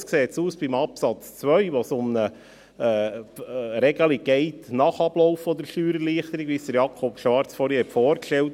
Anders sieht es bei Absatz 2 aus, wo es um eine Regelung nach Ablauf der Steuererleichterung geht, so wie vorhin von Jakob Schwarz vorgestellt.